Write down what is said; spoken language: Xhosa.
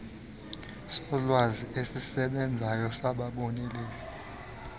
solwazi esisesbenzayo sababoneleli